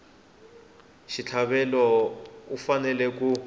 wa xitlhavelo u fanele ku